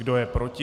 Kdo je proti?